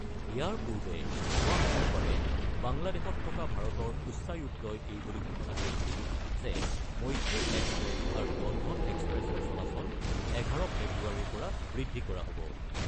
ইয়াৰ পূৰ্বে যোৱা মঙলবাৰে বাংলাদেশত থকা ভাৰতৰ উচ্চায়ুক্তই এই বুলি ঘোষণা কৰিছিল যে মৈত্ৰী এক্সপ্ৰেছ আৰু বন্ধন এক্সপ্ৰেছৰ চলাচল ১১ ফেব্ৰুৱাৰীৰ পৰা বৃদ্ধি কৰা হ'ব৷